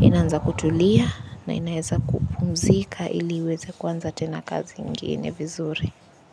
inaanza kutulia na inaweza kupumzika ili uweze kuanza tena kazi ingine vizuri.